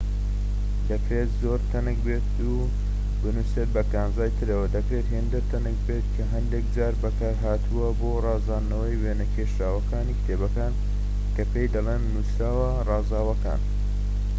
دەکرێت زۆر تەنک بێت و بنوسێت بە کانزای ترەوە دەکرێت هێندە تەنک بێت کە هەندێك جار بەکار هاتووە بۆ ڕازاندنەوەی وێنە کێشراوەکانی کتێبەکان کە پێی دەڵێن نوسراوە ڕازاوەکان